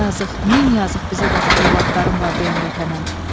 Yazıq, min yazıq bizə baxıb övladlarım var deyən vətənə.